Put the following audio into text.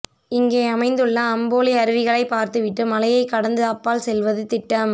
இங்கே அமைந்துள்ள அம்போலி அருவிகளை பார்த்துவிட்டு மலையைக் கடந்து அப்பால் செல்வது திட்டம்